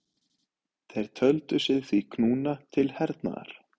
Þeir töldu sig því knúna til hernaðar.